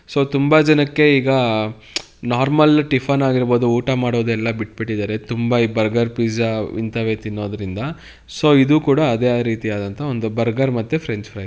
So ತುಂಬಾ ಜನಕ್ಕೆ ಈಗ ನಾರ್ಮಲ್ ಟಿಫನ್ ಆಗಿರಬಹುದು ಊಟ ಆಗಿರಬಹುದು ಎಲ್ಲ ಬಿಟ್ ಬಿಟ್ಟಿದ್ದಾರೆ ತುಂಬಾ ಬರ್ಗರ್ ಪಿಜ್ಜಾ. ಇದನ್ನೇ ತಿನ್ನುವುದರಿಂದ ಸೋ ಇದು ಕೂಡ ಅದೇ ರೀತಿಯಾದಂತಹ ಬರ್ಗರ್ ಮತ್ತೆ ಫ್ರೆಂಚ್ ಫ್ರೈ--